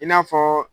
I n'a fɔ